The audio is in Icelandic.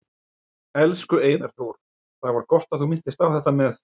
Elsku Einar Þór, það var gott að þú minntist á þetta með